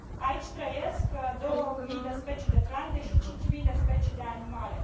Aici trăiesc 2000 de specii de plante și 5000 de specii de animale.